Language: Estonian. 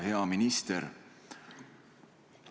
Hea minister!